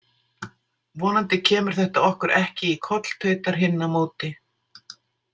Vonandi kemur þetta okkur ekki í koll, tautar hinn á móti.